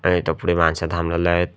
इथं पुढे माणसं थांबवले आहेत.